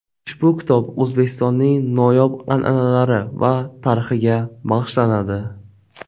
Ushbu kitob O‘zbekistonning noyob an’analari va tarixiga bag‘ishlanadi.